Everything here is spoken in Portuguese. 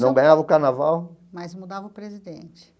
Não ganhava o carnaval... Mas mudava o presidente.